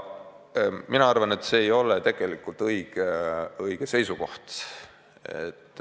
Mina arvan, et see ei ole tegelikult õige seisukoht.